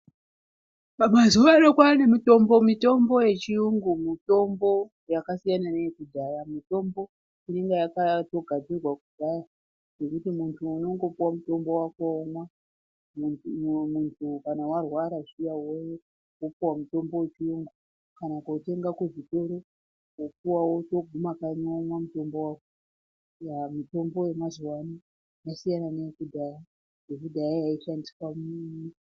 Mazuva ano kwanemitombo yechiyungu mitombo yakasiyana neyekudhaya. Mitombo inenge yakatogadzirwa kudhaya yekuti muntu unongopiwa mutombo wako womwa .Muntu kana warwara zviya wopuwa mutombo wechiyungu kana kotenga kuzvitoro ,wopuwa wotoguma kanyi womwa mutombo wako. Mutombo yemazuva ano yasiyana neyekudhaya ,yekudhaya yaishandiswa ...